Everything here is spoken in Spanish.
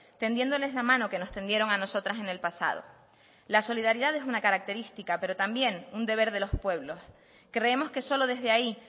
tendiéndoles la mano que nos tendieron a nosotras en el pasado la solidaridad es una característica pero también un deber de los pueblos creemos que solo desde ahí